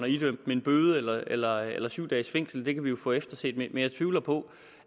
idømt dem en bøde eller eller syv dages fængsel det kan vi jo få efterset jeg tvivler på